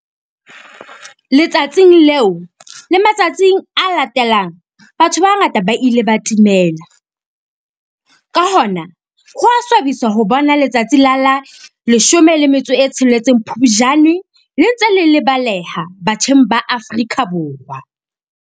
Letsatsing leo le matsatsing a latelang batho ba bangata ba ile ba timela. Ka hona ho a swabisa ho bona letsatsi la la 16 Phupjane le ntse le lebaleha batjheng ba Afrika Borwa.